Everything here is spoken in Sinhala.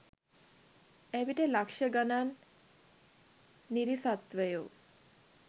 එවිට ලක්ෂ ගණන් නිරිසත්වයෝ